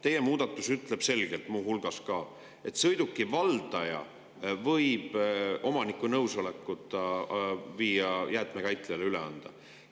Teie muudatus ütleb selgelt muu hulgas seda, et sõiduki valdaja võib omaniku nõusolekuta selle jäätmekäitlejale üle anda.